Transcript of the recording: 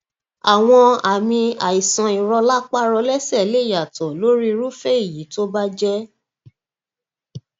àwọn àmì àìsànìrọlápá rọlẹsẹ lè yàtọ lórí irúfẹ èyí tó bá jẹ